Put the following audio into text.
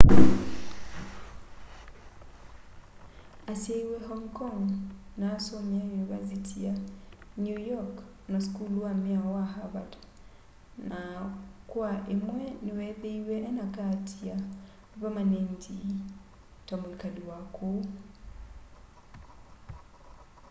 asyaiwe hong kong ma asomeie univasiti ya new york na sukulu wa miao wa harvard na kwa imwe niweethiiwe ena kaati ya vamanendi ta mwikali wa kuu